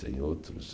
Tem outros.